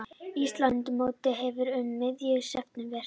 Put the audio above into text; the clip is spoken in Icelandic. Íslandsmótið hefst um miðjan september